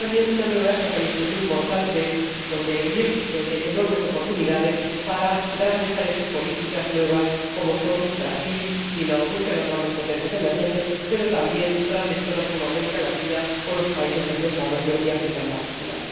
Y también una nueva época, y esto es lo importante, donde hay riesgos, pero donde hay enormes oportunidades para grandes áreas y políticas nuevas como son Brasil, China o Rusia, las grandes potencias emergentes, pero también grandes zonas como América Latina o los países en desarrollo y África en particular.